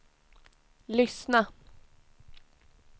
lyssna